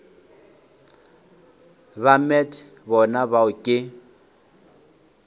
ba met bona bao ke